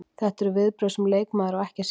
Þetta eru viðbrögð sem leikmaður á ekki að sýna.